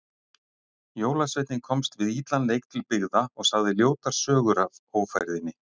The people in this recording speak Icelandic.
Jólasveinninn komst við illan leik til byggða og sagði ljótar sögur af ófærðinni.